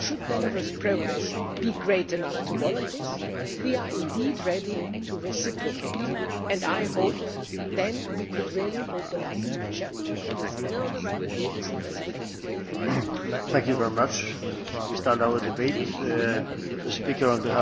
Should Belarus's progress be great enough to warrant this, we are indeed ready to reciprocate and I hope that we could then really open up a new chapter